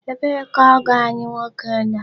Ebee ka ọgọ anyị nwoke nọ?